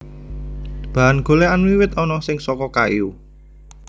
Bahan golèkan wiwit ana sing saka kayu